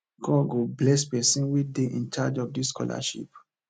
god go bless the person wey dey in charge of dis scholarship